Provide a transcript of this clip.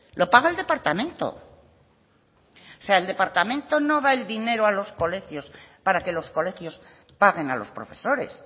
lo paga el departamento o sea el departamento no da el dinero a los colegios para que los colegios paguen a los profesores